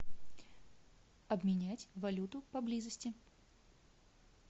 обменять валюту поблизости